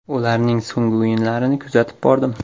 Ularning so‘nggi o‘yinlarini kuzatib bordim.